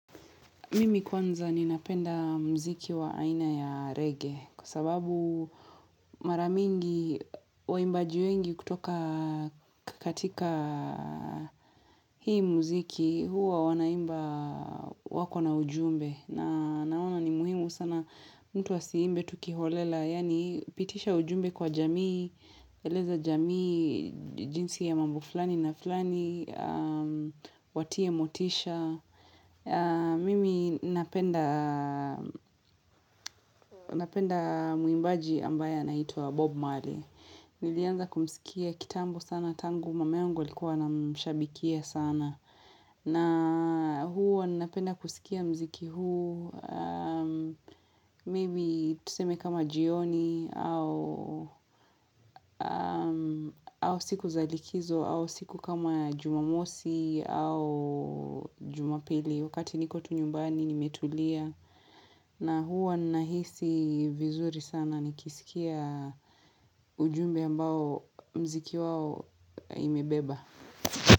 Mimi kwanza ninapenda muziki wa aina ya reggae kwa sababu mara mingi waimbaji wengi kutoka katika hii muziki huwa wanaimba wako na ujumbe na naona ni muhimu sana mtu asiimbe tu kiholela yaani pitisha ujumbe kwa jamii eleza jamii jinsi ya mambo fulani na fulani watie motisha Mimi napenda napenda muimbaji ambaye anaitwa Bob Marley Nilianza kumsikia kitambo sana tangu Mama yangu alikuwa anamshabikia sana na huwa napenda kusikia muziki huu Maybe tuseme kama jioni au au siku za likizo au siku kama jumamosi au jumapili Wakati niko tu nyumbani nimetulia na huwa nahisi vizuri sana nikisikia ujumbe ambao mziki wao imebeba.